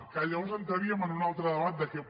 que llavors entraríem en un altre debat de què